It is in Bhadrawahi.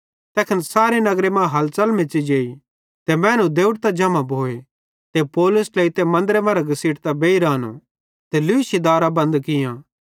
तैखन सारे नगर मां हलचल मेच़ी जेई ते मैनू देवड़तां जम्हां भोए ते पौलुस ट्लेइतां मन्दरे मरां घसीटतां बेइर आनो ते लूशी दारां बंद कियां